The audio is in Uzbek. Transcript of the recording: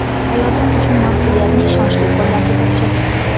Hayotim uchun mas’uliyatni ishonchli qo‘llarga topshirdim”.